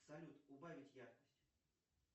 салют убавить яркость